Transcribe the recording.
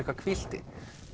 hvílt þig